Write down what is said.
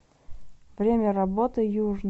время работы южный